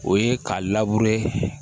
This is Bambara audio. O ye k'a